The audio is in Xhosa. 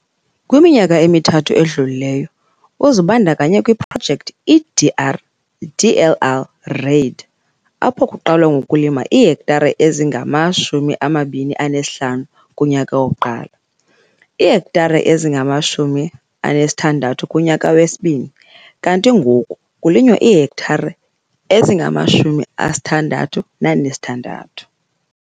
Kwiminyaka emithathu edlulileyo, uzibandakanye kwiProjekthi iDRDLR REID - apho kuqalwa ngokulima iihektare ezingama-25 kunyaka wokuqala, iihektare ezingama-60 kunyaka wesibini kanti ngoku kulinywa iihektare ezingama-66.